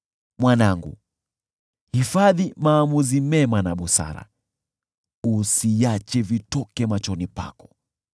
Mwanangu, hifadhi maamuzi mema na busara, usiache vitoke machoni pako;